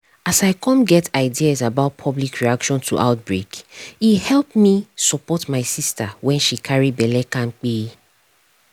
as i come get ideas about public reaction to outbreake help me support my sister when she carry belle kampe